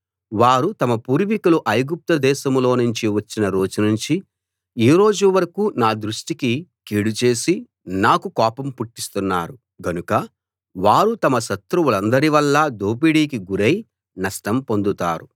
వారు తమ పూర్వికులు ఐగుప్తు దేశంలోనుంచి వచ్చిన రోజునుంచి ఈ రోజు వరకూ నా దృష్టికి కీడు చేసి నాకు కోపం పుట్టిస్తున్నారు గనుక వారు తమ శత్రువులందరివల్ల దోపిడీకి గురై నష్టం పొందుతారు